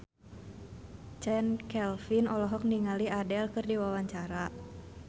Chand Kelvin olohok ningali Adele keur diwawancara